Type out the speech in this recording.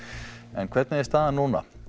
en hvernig er staðan núna